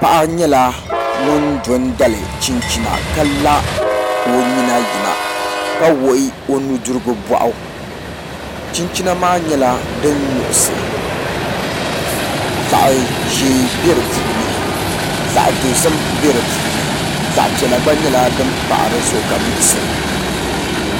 Paɣa nyɛla ŋun do n dali chinchina ka la ka o nyina yina ka wuɣi o nudirigu boɣu chinchina maa nyɛla din nuɣsi zaɣ ʒiɛ bɛ di puuni zaɣ dozim bɛ di puuni zaɣ piɛla gba nyɛla din pahi dizuɣu ka nuɣsi